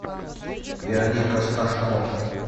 вероника сташко